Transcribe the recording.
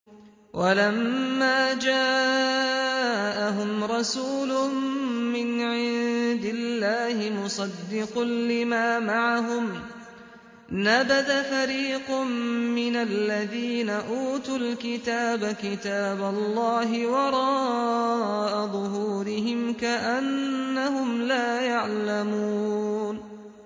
وَلَمَّا جَاءَهُمْ رَسُولٌ مِّنْ عِندِ اللَّهِ مُصَدِّقٌ لِّمَا مَعَهُمْ نَبَذَ فَرِيقٌ مِّنَ الَّذِينَ أُوتُوا الْكِتَابَ كِتَابَ اللَّهِ وَرَاءَ ظُهُورِهِمْ كَأَنَّهُمْ لَا يَعْلَمُونَ